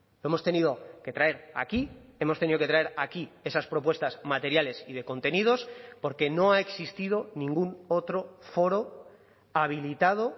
lo hemos tenido que traer aquí hemos tenido que traer aquí esas propuestas materiales y de contenidos porque no ha existido ningún otro foro habilitado